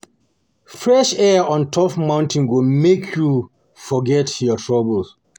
Fresh air on top mountain go make you forget your troubles.